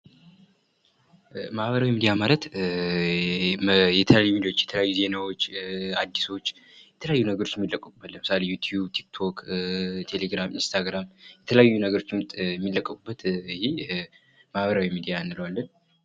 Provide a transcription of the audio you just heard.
ማህበራዊ ሚዲያ ማለት የተለያዩ ሚድያዎች ዜናዎች የተለያዩ አዲሶች የተለያዩ ነገሮች ሚለቀቁበት ለምሳሌ ዮቲቭ፣ ቲክቴክ፣ ቴሌግራም ፣እንስታግራም የተለያዩ ነገሮችን ሚለቀቁበት ማህበራዊ ሚዲያ እንለዋለን።